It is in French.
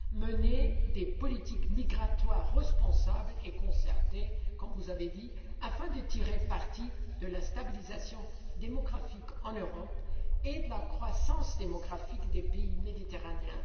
Mener des politiques migratoires responsables et concertées, comme vous l'avez dit, afin de tirer parti de la stabilisation démographique en Europe et de la croissance démographique des pays méditerranéens.